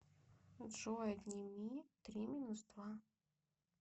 джой отними три минус два